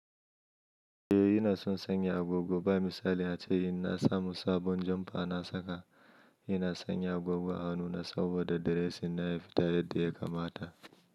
Eh ina son sanya agogo. Ba misali ace, in na samu sabon jamba na saka, ina sanya agogo a hannuna saboda da dressing na ya fita yadda ya kamata.